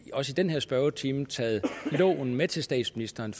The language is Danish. denne spørgetime taget loven med til statsministeren